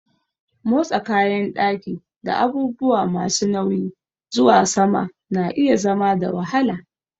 Motsa kayan ɗaki da abubuwa masu nauyi zuwa sama na iya zama da wahala.